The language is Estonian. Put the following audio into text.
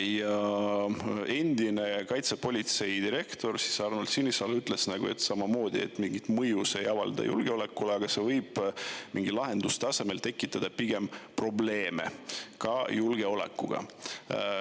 Endine kaitsepolitsei direktor Arnold Sinisalu ütles samamoodi, et mingit mõju julgeolekule see ei avalda ja võib mingite lahenduste asemel tekitada pigem probleeme, ka julgeolekuga.